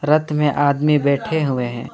रथ में आदमी बैठे हुए हैं।